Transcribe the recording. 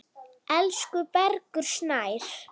Elsku Bergur Snær.